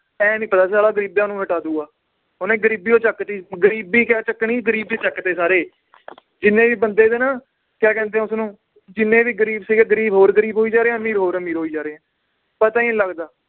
ਇਹ ਨੀ ਪਤਾ ਨੀ ਸੀ ਸਾਲਾ ਗਰੀਬਾਂ ਨੂੰ ਹਟਾ ਦਊਗਾ ਓਹਨੇ ਗਰੀਬੀਓ ਚੱਕਤੀ ਗਰੀਬੀ ਕਿਆ ਚੱਕਣੀ ਗਰੀਬ ਹੀ ਚਕਤੇ ਸਾਰੇ ਜਿੰਨੇ ਵੀ ਬੰਦੇ ਸੀ ਨਾ ਕਿਆ ਕਹਿੰਦੇ ਏ ਉਸਨੂੰ ਜਿੰਨੇ ਵੀ ਗਰੀਬ ਸੀਗੇ ਗਰੀਬ ਹੋਰ ਗਰੀਬ ਹੋਈ ਜਾ ਰਹੇ ਹੈ ਅਮੀਰ ਹੋਰ ਅਮੀਰ ਹੋਈ ਜਾ ਰਹੇ ਹੈ, ਪਤਾ ਹੀ ਨੀ ਲੱਗਦਾ